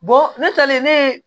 ne talen ne ye